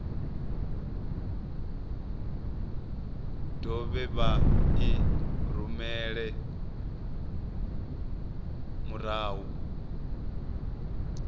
dovhe vha i rumele murahu